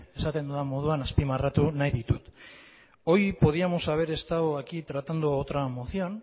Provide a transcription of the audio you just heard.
esaten dudan moduan azpimarratu nahi ditut hoy podíamos haber estado aquí tratando otra moción